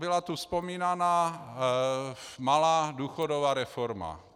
Byla tu vzpomínána malá důchodová reforma.